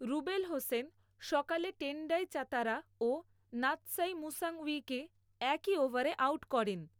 রুবেল হোসেন সকালে Tendai Chatara ও Natsai মুশাঙউইকে একই ওভারে আউট করেন।